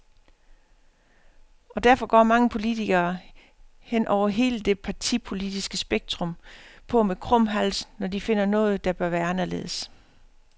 Og derfor går mange politikere, hen over hele det partipolitiske spektrum, på med krum hals, når de finder noget, der bør være anderledes.